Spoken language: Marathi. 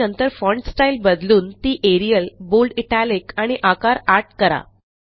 आणि नंतर फॉन्ट स्टाईल बदलून ती एरियल बोल्ड इटालिक आणि आकार 8 करा